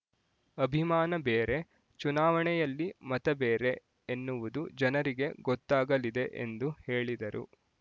ಅಭಿಮಾನ ಬೇರೆ ಚುನಾವಣೆಯಲ್ಲಿ ಮತ ಬೇರೆ ಎನ್ನುವುದು ಜನರಿಗೆ ಗೊತ್ತಾಗಲಿದೆ ಎಂದು ಹೇಳಿದರು